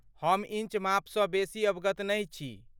हम इन्च मापसँ बेसी अवगत नहि छी?